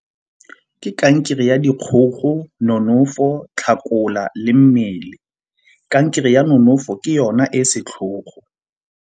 Ke kankere ya dikgogo, nonofo, tlhakola, le mmele. Kankere ya nonofo ke yona e e setlhogo.